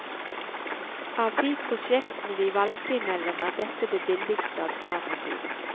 Av de prosjektene vi valgte mellom, er dette det billigste alternativet.